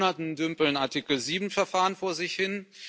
Seit Monaten dümpeln Artikel 7 Verfahren vor sich hin